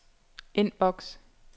inbox